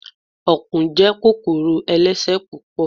Ọ̀kùn jẹ́ kòkòrò ẹlẹ́sẹ̀ púpọ̀